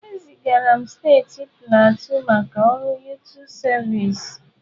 E zigara m steeti Pleateu maka ọrụ yụtụ sịvịsi.